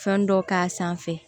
Fɛn dɔ k'a sanfɛ